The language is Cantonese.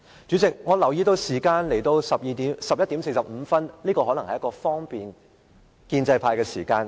主席，我留意到現已11時45分，這可能是方便建制派休息的時間。